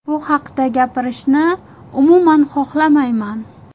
Bu haqda gapirishni umuman xohlamayman.